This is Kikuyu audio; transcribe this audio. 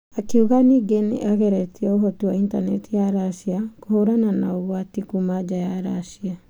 Akiuga ningĩ nĩageretie ũhoti wa intaneti ya Russia kũhũrana na ũgwati kuma nja ya Russia.